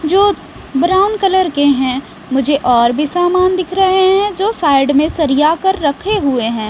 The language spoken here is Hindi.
जो ब्राउन कलर के हैं मुझे और भी सामान दिख रहे हैं जो साइड में सरिया कर रखे हुए हैं।